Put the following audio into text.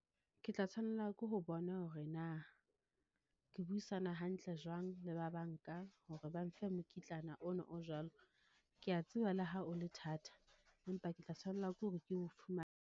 Ke tla tshwanela ke ho bona hore na, ke buisana hantle jwang le ba banka hore ba mfe mokitlana ona o jwalo. Ke ya tseba le ha o le thata, empa ke tla tshwanela ke hore ke o .